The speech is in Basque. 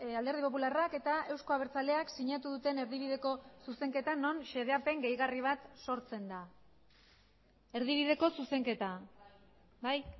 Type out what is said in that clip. alderdi popularrak eta euzko abertzaleak sinatu duten erdibideko zuzenketa non xedapen gehigarri bat sortzen da erdibideko zuzenketa bai